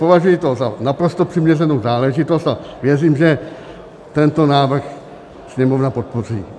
Považuji to za naprosto přiměřenou záležitost a věřím, že tento návrh Sněmovna podpoří.